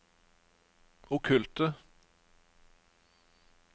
okkulte